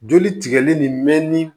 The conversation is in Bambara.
Joli tigɛli nin mɛnni